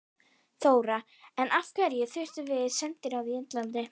Þóra: En af hverju þurfum við sendiráð í Indlandi?